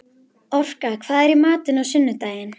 Orka, hvað er í matinn á sunnudaginn?